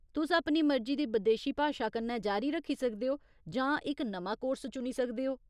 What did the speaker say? तुस अपनी मर्जी दी बदेशी भाशा कन्नै जारी रक्खी सकदे ओ जां इक नमां कोर्स चुनी सकदे ओ।